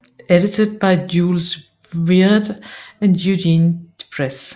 Edited by Jules Viard and Eugène Déprez